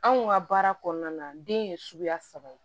Anw ka baara kɔnɔna na den ye suguya saba ye